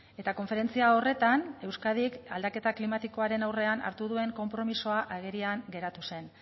eta konferentzia horretan euskadik aldaketa klimatikoaren aurrean hartu duen konpromisoa agerian geratu zen